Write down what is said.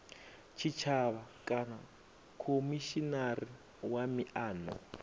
tshitshavha kana khomishinari wa miano